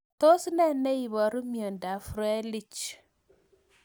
Tos ne neiparu miondop Froelich